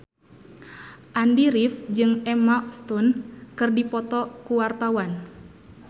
Andy rif jeung Emma Stone keur dipoto ku wartawan